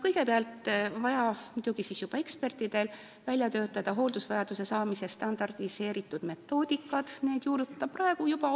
Kõigepealt on vaja muidugi juba ekspertidel välja töötada hooldusvajaduse määramise standardiseeritud metoodikad ja neid on vaja juurutada.